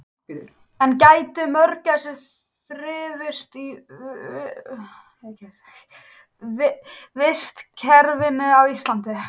En gætu mörgæsir þrifist í vistkerfinu á Íslandi?